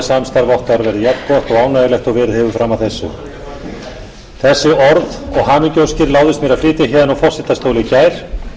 samstarf okkar verði jafngott og ánægjulegt og verið hefur fram að þessu þessi orð og hamingjuóskir láðist mér að flytja héðan úr forsetastóli í gær